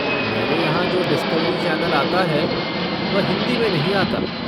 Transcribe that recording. मेरे यहाँ जो डिस्कवरी चैनल आता है वह हिन्दी में नहीं आता।